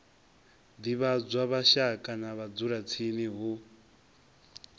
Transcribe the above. divhadzwa mashaka na vhadzulatsini hu